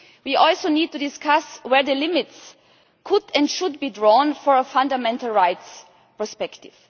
We also need to discuss where the limits could and should be drawn for a fundamental rights perspective.